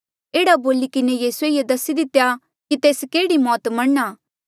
एह्ड़ा बोली किन्हें यीसूए ये दसी दितेया कि तेस केह्ड़ी मौत मरणा